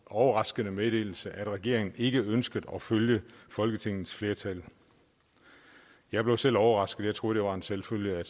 overraskende meddelelse at regeringen ikke ønskede at følge folketingets flertal jeg blev selv overrasket jeg troede det var en selvfølge at